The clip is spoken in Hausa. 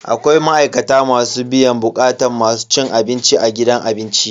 Akwai ma'aikata masu biyan bukatun masu cin abinci a gidan abinci.